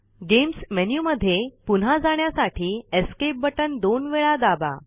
games menuएलटीपॉजेग्ट मध्ये पुन्हा जाण्यासाठी एस्केप बटन दोन वेळा दाबा